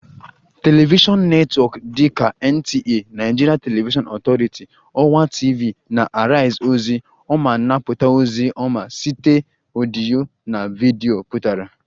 Television netwọk dị ka NTA (Nigerian Television Authority), ọwa TV na Arise ozi ọma anapụta ozi ọma site ọdịyo na video pụtara